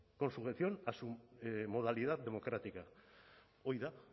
con sujeción a su modalidad democrática hori da